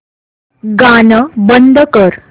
गाणं बंद कर